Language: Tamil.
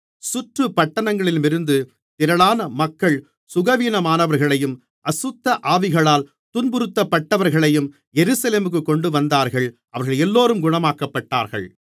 சுற்றுப்பட்டணங்களிலுமிருந்து திரளான மக்கள் சுகவீனமானவர்களையும் அசுத்தஆவிகளால் துன்புறுத்தப்பட்டவர்களையும் எருசலேமுக்குக் கொண்டுவந்தார்கள் அவர்களெல்லோரும் குணமாக்கப்பட்டார்கள்